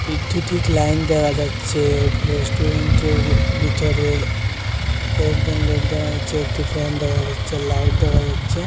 বিদ্যুতিক line দেখা যাচ্ছে রেস্টুরেন্টের ভিতরে কয়েকজন লোক দেখা যাচ্ছে একটি ফ্যান দেখা যাচ্ছে লাইট দেখা যাচ্ছে।